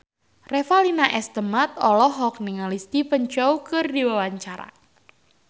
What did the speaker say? Revalina S. Temat olohok ningali Stephen Chow keur diwawancara